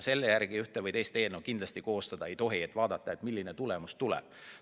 Selle järgi ühte või teist eelnõu kindlasti koostada ei tohi, et vaadatakse, milline tulemus tuleb.